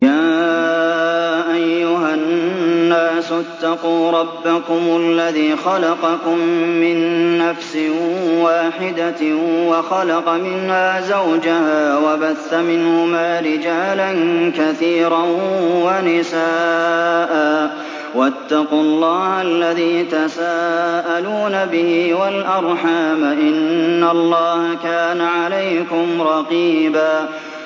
يَا أَيُّهَا النَّاسُ اتَّقُوا رَبَّكُمُ الَّذِي خَلَقَكُم مِّن نَّفْسٍ وَاحِدَةٍ وَخَلَقَ مِنْهَا زَوْجَهَا وَبَثَّ مِنْهُمَا رِجَالًا كَثِيرًا وَنِسَاءً ۚ وَاتَّقُوا اللَّهَ الَّذِي تَسَاءَلُونَ بِهِ وَالْأَرْحَامَ ۚ إِنَّ اللَّهَ كَانَ عَلَيْكُمْ رَقِيبًا